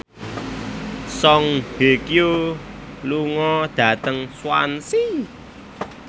Song Hye Kyo lunga dhateng Swansea